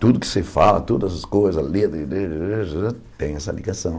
Tudo que você fala, todas as coisas, medo tem essa ligação.